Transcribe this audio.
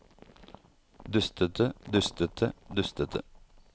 dustete dustete dustete